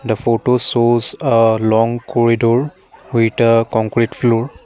the photos shows a long corridor with a concrete floor.